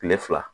Kile fila